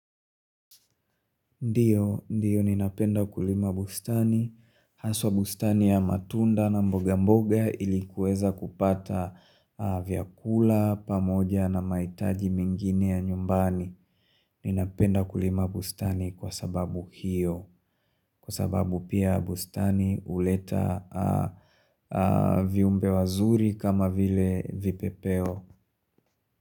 Ndiyo, ndiyo ninapenda kulima bustani. Haswa bustani ya matunda na mboga mboga ili kuweza kupata aa vyakula pamoja na mahitaji mengine ya nyumbani. Ninapenda kulima bustani kwa sababu hiyo. Kwa sababu pia bustani huleta aa aa viumbe wazuri kama vile vipepeo.